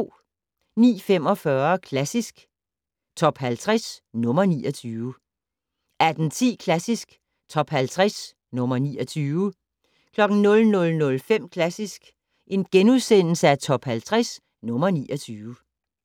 09:45: Klassisk Top 50 - nr. 29 18:10: Klassisk Top 50 - nr. 29 00:05: Klassisk Top 50 - nr. 29 *